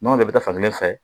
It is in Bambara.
Nɔnɔ bɛɛ bɛ taa fan kelen fɛ